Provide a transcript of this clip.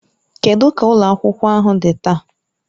Kedụ ka ụlọ akwụkwọ ahụ dị taa?